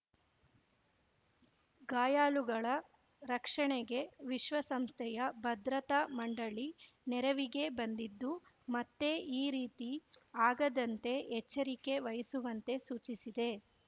ಗಾಯಾಳುಗಳ ರಕ್ಷಣೆಗೆ ವಿಶ್ವಸಂಸ್ಥೆಯ ಭದ್ರತಾ ಮಂಡಳಿ ನೆರವಿಗೆ ಬಂದಿದ್ದು ಮತ್ತೆ ಈ ರೀತಿ ಆಗದಂತೆ ಎಚ್ಚರಿಕೆ ವಹಿಸುವಂತೆ ಸೂಚಿಸಿದೆ